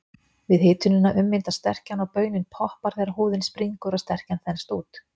Við hitunina ummyndast sterkjan og baunin poppar þegar húðin springur og sterkjan þenst út.